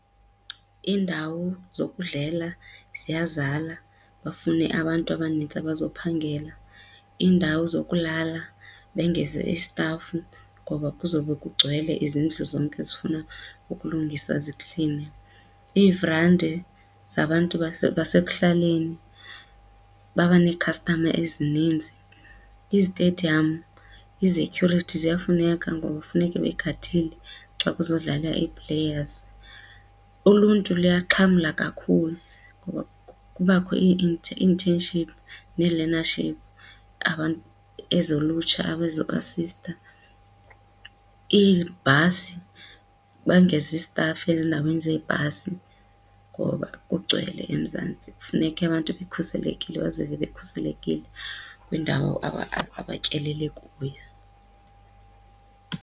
Iindawo zokudlela ziya zala bafune abantu abanintsi abazophangela. Iindawo zokulala bengeze istafu ngoba kuzawube kugcwele izindlu zonke zifuna ukulungiswa zikline. Iivrandi zabantu basekuhlaleni babe neekhastama ezininzi, izitediyamu, izetyhurithi ziyafuneka ngoba funeke begadile xa kuzodlala ii-players. Uluntu luyaxhamla kakhulu ngoba kubakho ii-internships nee-learnership ezolutsha abazoasista. Iibhasi bangeza istafu ezindaweni zeebhasi ngoba kugcwele eMzantsi, funeke abantu bekhuselekile bazive bekhuselekile kwiindawo abatyelele kuyo.